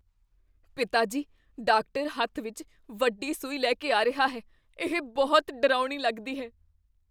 ਪਿਤਾ ਜੀ, ਡਾਕਟਰ ਹੱਥ ਵਿੱਚ ਵੱਡੀ ਸੂਈ ਲੈ ਕੇ ਆ ਰਿਹਾ ਹੈ ਇਹ ਬਹੁਤ ਡਰਾਉਣੀ ਲੱਗਦੀ ਹੈ